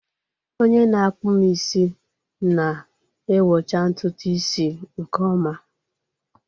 Onye na-akpụ m isi na-awọcha ntutu isi nke ọma.